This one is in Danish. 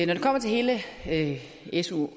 det kommer til hele hele su